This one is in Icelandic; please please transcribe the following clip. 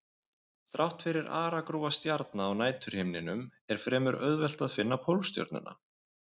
Þrátt fyrir aragrúa stjarna á næturhimninum er fremur auðvelt að finna Pólstjörnuna.